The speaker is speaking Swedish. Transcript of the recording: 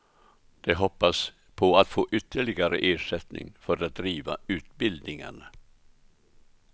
De hoppas på att få ytterligare ersättning för att driva utbildningarna.